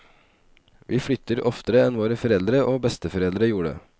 Vi flytter oftere enn våre foreldre og besteforeldre gjorde.